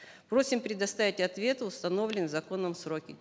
просим предоставить ответы в установленные законом сроки